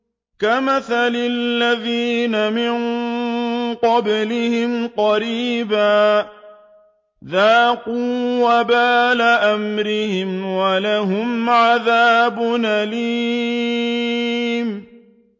كَمَثَلِ الَّذِينَ مِن قَبْلِهِمْ قَرِيبًا ۖ ذَاقُوا وَبَالَ أَمْرِهِمْ وَلَهُمْ عَذَابٌ أَلِيمٌ